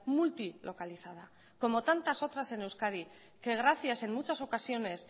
multilocalizada como tantas otras en euskadi que gracias en muchas ocasiones